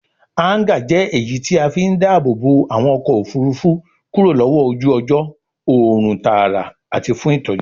Háńgà jẹ́ èyí tí a fí ń dáàbòbo àwọn ọkọ̀ òfurufú kúrò lọ́wọ́ ojú ọjọ́, òòrùn tààrà àti fún ìtọ́jú.